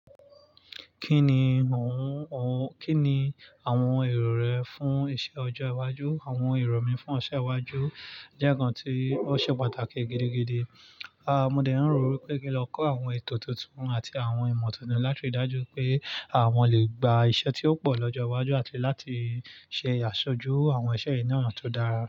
Kí ni oun, kí ni àwọn èrò rẹ fún iṣẹ ọjọ́ iwájú? Àwọn èrò mi fún ọjọ́ iwájú jẹ́ ǹnkan tí ó ṣe pàtàkì gidi gidi. A, mo dẹ̀ ń rò wípé kí n lọ kọ́ àwọn ètò tuntun àti àwọn ìmọ̀ tuntun láti ri dájú pé à wọn lè gba iṣẹ́ tí ó pọ̀ lọ́jọ́ iwájú àti láti ṣe àṣojú àwọn iṣẹ́ ì ná tó dára.